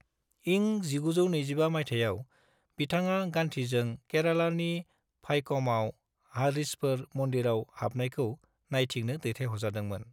इं 1925 माइथायाव, बिथाङा गान्धीजों केरालानि भाइक'माव हारिजफोर मन्दिराव हाबनायखौ नायथिंनो दैथायहरजादोंमोन।